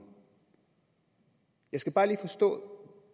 jeg skal bare lige forstå